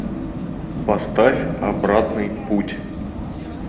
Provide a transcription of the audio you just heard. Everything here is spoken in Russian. поставь обратный путь